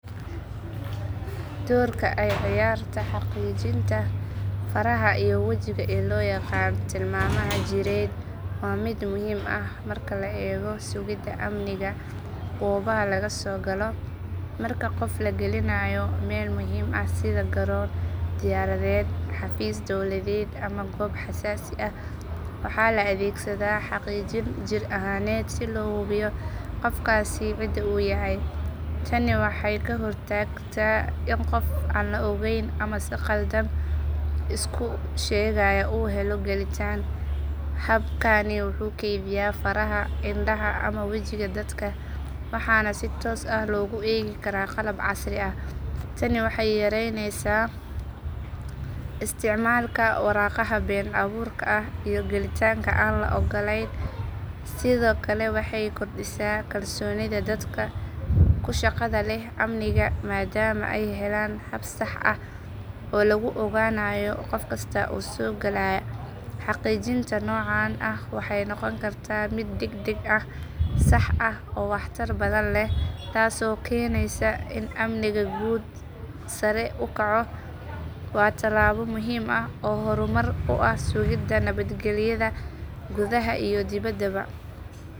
Doorka ay ciyaarta xaqiijinta faraha iyo wajiga ee loo yaqaan tilmaamaha jireed waa mid muhiim ah marka la eego sugidda amniga goobaha laga soo galo. Marka qof la gelinayo meel muhiim ah sida garoon diyaaradeed, xafiis dowladeed ama goob xasaasi ah waxaa la adeegsadaa xaqiijin jir ahaaneed si loo hubiyo qofkaasi cidda uu yahay. Tani waxay ka hor tagtaa in qof aan la ogayn ama si khaldan isku sheegaya uu helo gelitaan. Habkani wuxuu kaydiyaa faraha, indhaha ama wejiga dadka waxaana si toos ah loogu eegi karaa qalab casri ah. Tani waxay yaraynaysaa isticmaalka waraaqaha been abuurka ah iyo gelitaanka aan la oggolayn. Sidoo kale waxay kordhisaa kalsoonida dadka ku shaqada leh amniga maadaama ay helayaan hab sax ah oo lagu ogaanayo qof kasta oo soo galaya. Xaqiijinta noocan ah waxay noqon kartaa mid degdeg ah, sax ah oo waxtar badan leh taasoo keenaysa in amniga guud sare u kaco. Waa tallaabo muhiim ah oo horumar u ah sugidda nabadgelyada gudaha iyo dibaddaba.